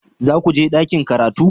Za ku je ɗakin karatu?